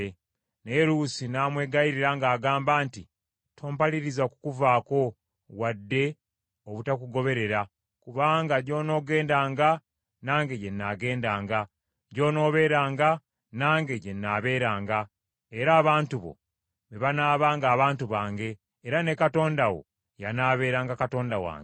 Naye Luusi n’amwegayirira ng’agamba nti, “Tompaliriza kukuvaako, wadde obutakugoberera, kubanga gy’onoogendanga, nange gye nnaagendanga, gy’onooberanga, nange gye nnaaberanga, era abantu bo be banaabanga abantu bange, era ne Katonda wo y’anaaberanga Katonda wange.